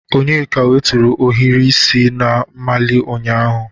Onyeka wutere ohiri isi na-amali ụnyahụ